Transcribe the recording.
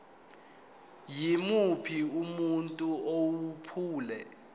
yimuphi umuntu owephula